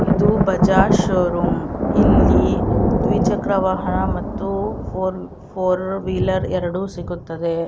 ಇದು ಬಜಾಜ್ ಶೋರೂಮ್ ಇಲ್ಲಿ ದ್ವಿಚಕ್ರ ವಾಹನ ಮತ್ತು ಫೋರ್ ಫೋರ್ವೀಲರ್ ಎರಡು ಸಿಗುತ್ತದೆ.